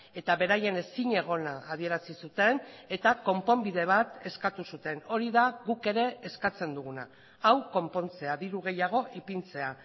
eta beraien ezinegona adierazi zuten eta konponbide bat eskatu zuten hori da guk ere eskatzen duguna hau konpontzea diru gehiago ipintzea